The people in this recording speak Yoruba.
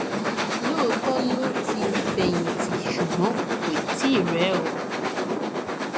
lóòótọ ló ti fẹyìntì ṣùgbọn kò tí ì rẹ ọ